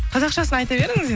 қазақшасын айта беріңіз